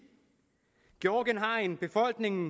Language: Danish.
georgien har en befolkning